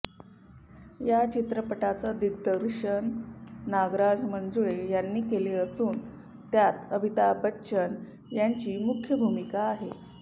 या चित्रपटाचं दिग्दर्शन नागराज मंजुळे यांनी केले असून त्यात अमिताभ बच्चन यांची मुख्य भूमिका आहे